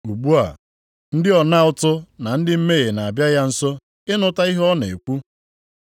Ugbu a, ndị ọna ụtụ na ndị mmehie na-abịa ya nso ịnụta ihe ọ na-ekwu.